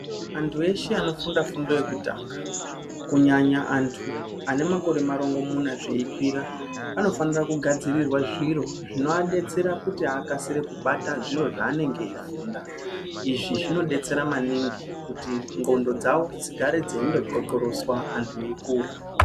Antu eshe vanofunda fundo yekutanga ku nyanya antu ane makore marungu munya zvei kwira anifanira ku gadzirirwa zviro zvino adetsera kuti vakasire kubata zviro zva anange eyi funda izvi zvino detsera maningi kuti ndxondo dzawo dzigare dzeindo ndxokoroswa antu eyikura.